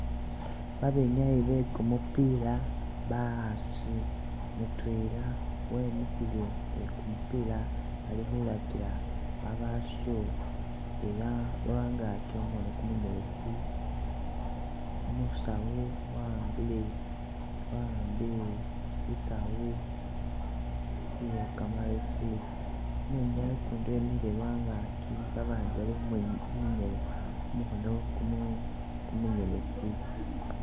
Abenyayi bekumupila bakhasi mutwela wemikhile ni kumupila alikhu lakila abasho ela lwa ngaki khumukhono kumunyeletsi umusawu wa'ambile wa'ambile i'saawu iye kamalesi, umwinyayi ukundi wemikhile lwa ngaki babandi bali khumu khu khumukhono kumu kumunyeletsi